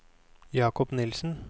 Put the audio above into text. Jakob Nielsen